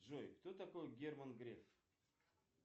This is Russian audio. джой кто такой герман греф